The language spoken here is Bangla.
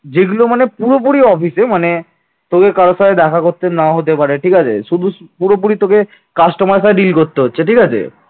যেগুলো মানে পুরোপুরি office মানে তোকে কারো সাথে দেখা করতে নাও হতে পারে ঠিক আছে শুধু পুরোপুরি তোকে customer সাথে deal করতে হচ্ছে ঠিক আছে